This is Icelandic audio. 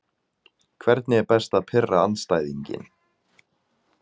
Hvernig er best að pirra andstæðinginn?